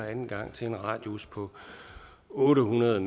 anden gang til en radius på otte hundrede